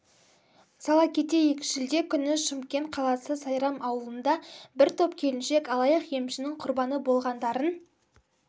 сала кетейік шілде күні шымкент қаласы сайрам ауылында бір топ келіншек алаяқ емшінің құрбаны болғандарын